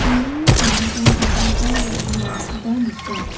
sambao dal·gipa ro·ongrangkoba nika.